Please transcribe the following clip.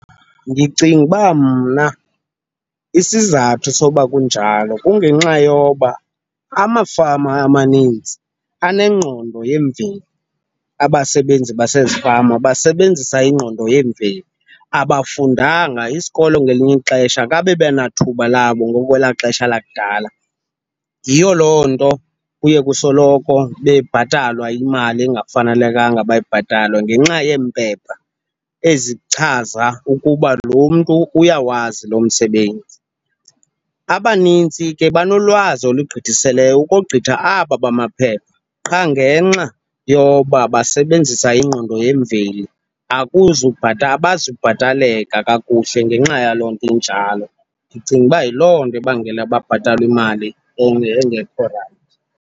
Ndicinga uba mna isizathu sokuba kunjalo kungenxa yoba amafama amanintsi anengqondo yemveli, abasebenzi basezifama basebenzisa iingqondo yemveli, abafundanga. Isikolo ngelinye ixesha kabebenathuba labo ngokwelaa xesha lakudala. Yiyo loo nto kuye kusoloko bebhatalwa imali engafanelekanga, bayibhatalwe ngenxa yeempepha ezichaza ukuba lo mntu uyawazi lo msebenzi. Abanintsi ke banolwazi olugqithiseleyo ukogqitha aba bamaphepha, qha ngenxa yoba basebenzisa ingqondo yemveli abazubhataleka kakuhle ngenxa yaloo nto injalo. Ndicinga uba yiloo nto ebangela babhatalwe imali engekho rayithi.